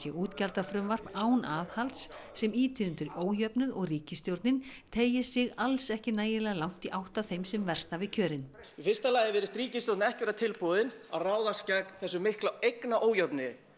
útgjaldafrumvarp án aðhalds sem ýti undir ójöfnuð og ríkisstjórnin teygi sig alls ekki nægilega langt í átt að þeim sem verst hafi kjörin í fyrsta lagi virðist ríkisstjórnin ekki vera tilbúin að ráðast gegn þessum mikla eignaójöfnuði